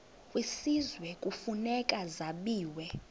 kwisizwe kufuneka zabiwe